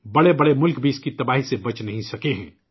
بڑے بڑے ملک بھی اسکی تباہی سے بچ نہیں سکے ہیں